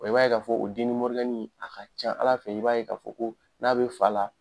i b'a ye k'a fɔ o a ka ca Ala fɛ i b'a ye k'a fɔ ko n'a bɛ fa la